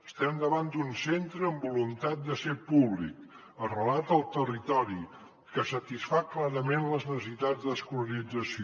estem davant d’un centre amb voluntat de ser públic arrelat al territori que satisfà clarament les necessitats d’escolarització